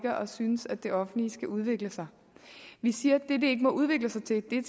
synes at det offentlige skal udvikle sig vi siger at det det ikke må udvikle sig til er